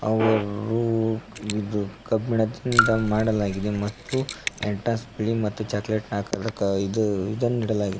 ಅವರು ವಿದ್ಯುತ್ ಕಬ್ಬಿಣದಿಂದ ಮಾಡಲಾಗಿದೆ ಮತ್ತು ಚಾಕಲೇಟ್ ನ ಇದು ಇದನ್ನು ಇಡಲಾಗಿದೆ.